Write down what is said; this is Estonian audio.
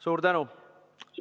Suur tänu!